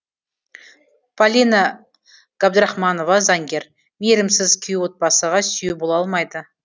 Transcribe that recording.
полина габдрахманова заңгер мейірімсіз күйеу отбасыға сүйеу бола алмайды